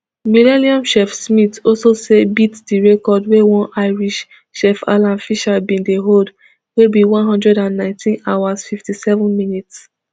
millenium chef smith also say beat di record wey one irish chef alan fisher bin dey hold wey be one hundred and nineteen hours fifty-seven minutes